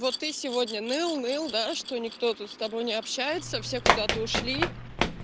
ты сегодня ныл ныл что никто тут с тобой не общается все куда-то ушли